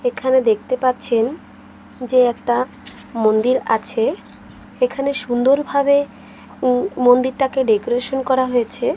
এখানে দেখতে পাচ্ছেন যে একটা মন্দির আছে এখানে সুন্দরভাবে উম মন্দিরটাকে ডেকোরেশন করা হয়েছে।